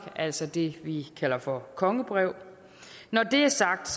altså det vi kalder for kongebrev når det er sagt